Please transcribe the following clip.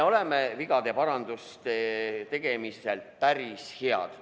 Me oleme vigade paranduste tegemisel päris head.